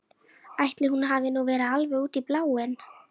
Ætli hún hafi nú verið alveg út í bláinn.